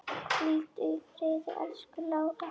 Hvíldu í friði, elsku Lára.